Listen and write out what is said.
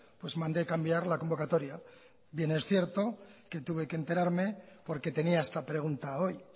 pues mandé cambiar la convocatoria bien es cierto que tuve que enterarme porque tenía esta pregunta hoy